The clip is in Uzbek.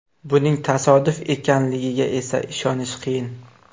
Buning tasodif ekanligiga esa ishonish qiyin.